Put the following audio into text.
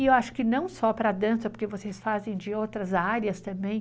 E eu acho que não só para a dança, porque vocês fazem de outras áreas também.